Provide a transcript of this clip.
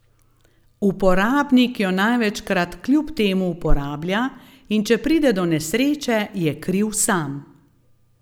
Uporabnik jo največkrat kljub temu uporablja in če pride do nesreče, je kriv sam.